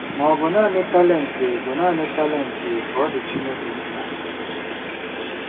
Ma, ọ̀ bụ naanị talent bụ naanị talent ka ọ dị Chineke mkpa?